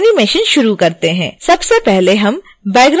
सबसे पहले हम बैकग्राउंड बनायेंगे